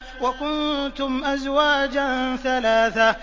وَكُنتُمْ أَزْوَاجًا ثَلَاثَةً